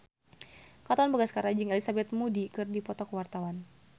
Katon Bagaskara jeung Elizabeth Moody keur dipoto ku wartawan